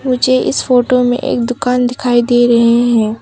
मुझे इस फोटो में एक दुकान दिखाई दे रहे हैं।